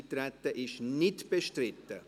– Das Eintreten ist nicht bestritten.